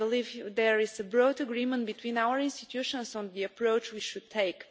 I believe there is a broad agreement between our institutions on the approach we should